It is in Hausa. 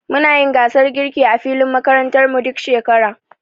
Muna yin gasar girki a filin makarantar mu, duk shekara.